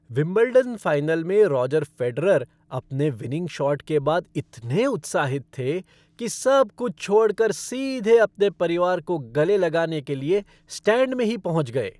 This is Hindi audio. विंबलडन फ़ाइनल में रोजर फ़ेडरर अपने विनिंग शॉट के बाद इतने उत्साहित थे कि सब कुछ छोड़कर सीधे अपने परिवार को गले लगाने के लिए स्टैंड में ही पहुंच गए।